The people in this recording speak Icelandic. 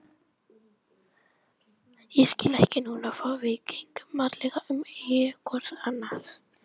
Ég skil ekki núna hvað við gengum varlega um augu hvors annars